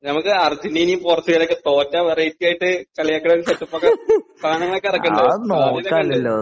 നമുക്ക് അർജെന്റിന യും പോർച്ചുഗലും ഒക്കെ തോറ്റാൽ വെറൈറ്റീ ആയിട്ട് കളിയാക്കണ ഒരു സെറ്റ് അപ്പ് ഒക്കെ സാധനങ്ങൾ ഒക്കെ ഇറക്കണ്ടേ? സാധ്യതകൾ ഒക്കെ ഉണ്ട്